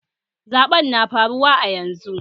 Zaɓen na faruwa a yanzu